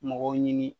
Mɔgɔw ɲini